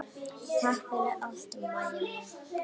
Takk fyrir allt, Mæja mín.